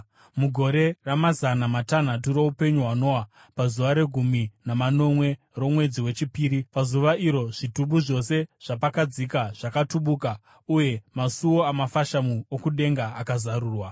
Mugore ramazana matanhatu roupenyu hwaNoa, pazuva regumi namanomwe romwedzi wechipiri, pazuva iro zvitubu zvose zvapakadzika zvakatubuka, uye masuo amafashamu okudenga akazarurwa.